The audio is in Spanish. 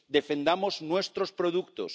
Defendamos nuestros productos.